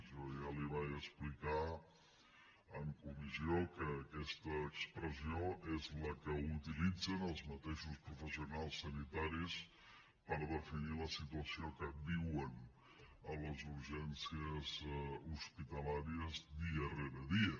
jo ja li vaig explicar en comissió que aquesta expressió és la que utilitzen els mateixos professionals sanitaris per definir la situació que viuen a les urgències hospitalàries dia rere dia